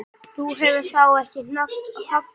Þú hefur þó ekki hoggið?